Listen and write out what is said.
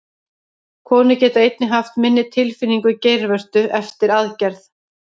Konur geta einnig haft minni tilfinningu í geirvörtu eftir aðgerð.